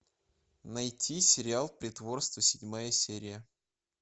найти сериал притворство седьмая серия